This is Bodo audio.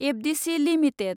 FDC limited